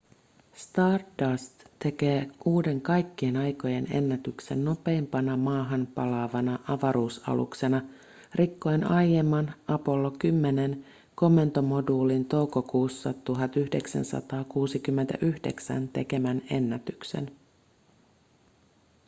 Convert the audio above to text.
stardust tekee uuden kaikkien aikojen ennätyksen nopeimpana maahan palaavana avaruusaluksena rikkoen aiemman apollo 10:n komentomoduulin toukokuussa 1969 tekemän ennätyksen